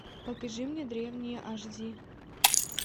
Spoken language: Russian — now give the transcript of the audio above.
покажи мне древние аш ди